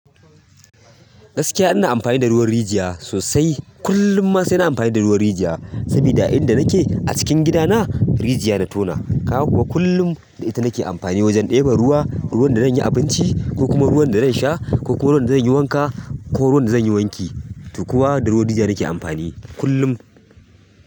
Gaskiya ina amfani da ruwan rijiya sosai. Kullum ma sai na amfani da ruwan rijiya saboda a inda nake a cikin gidana rijiya na tona. Kaga kuwa kullum da ita nake amfani wajen ɗeba ruwa, ruwan da zan yi abinci ko kuma ruwan da zan sha ko ruwan da zan yi wanka ko ruwan da zan yi wanki. To kuwa da ruwan rijiya nake amfani kullum.